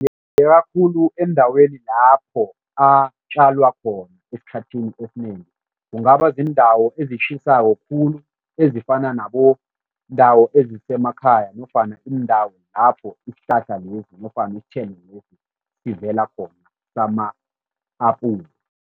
Khulu endaweni lapho atjala khona esikhathini esinengi. Kungaba ziindawo ezitjhisako khulu ezifana nabo iindawo ezisemakhaya nofana iindawo lapho isihlahla lesi nofana isithelo lesi sivela khona sama-apula.